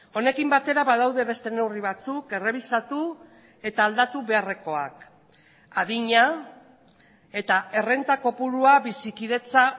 honekin batera badaude beste neurri batzuk errebisatu eta aldatu beharrekoak adina eta errenta kopurua bizikidetza